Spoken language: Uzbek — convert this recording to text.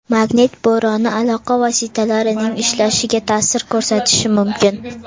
Magnit bo‘roni aloqa vositalarining ishlashiga ta’sir ko‘rsatishi mumkin.